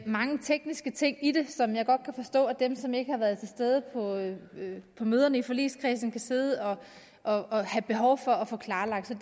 mange tekniske ting i det som jeg godt kan forstå at dem som ikke har været til stede på møderne i forligskredsen kan sidde og og have behov for at få klarlagt så